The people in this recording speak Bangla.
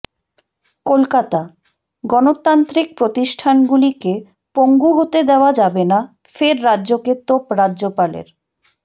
কলকাতাঃ গণতান্ত্রিক প্রতিষ্ঠানগুলিকে পঙ্গু হতে দেওয়া যাবে না ফের রাজ্যকে তোপ রাজ্যপালের